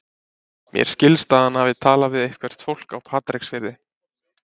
Mér skilst að hann hafi talað við eitthvert fólk á Patreksfirði.